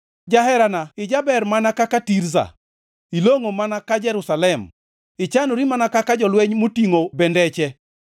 Jaherana, ijaber mana ka Tirza, ilongʼo mana ka Jerusalem, ichanori mana ka jolweny motingʼo bendeche.